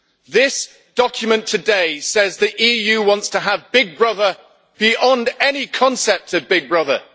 This document today says that the EU wants to have Big Brother beyond any concept of Big Brother.